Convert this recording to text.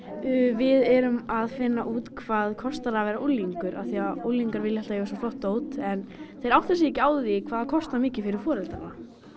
við erum að finna út hvað það kostar að vera unglingur af því að unglingar vilja alltaf eiga svo flott dót en þeir átta sig ekki á því hvað það kostar mikið fyrir foreldrana